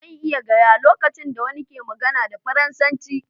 Zan iya gaya lokacin da wani ke magana da Faransanci.